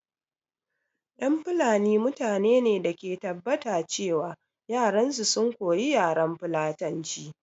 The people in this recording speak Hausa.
Ƴan fulani mutane ne da ke tabbata ce wa yaran su sun koya yaran fulatanci